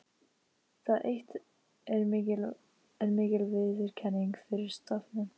Það eitt er mikil viðurkenning fyrir stofninn.